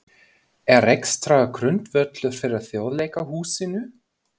Er rekstrargrundvöllur fyrir Þjóðleikhúsinu?